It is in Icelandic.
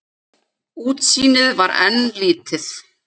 Útsýnið var enn lítið.